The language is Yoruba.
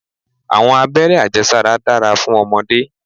Àwọn abéré ajé sára dára fún ọmọdé.